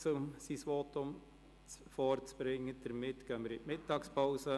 Deshalb gehen wir jetzt in die Mittagspause.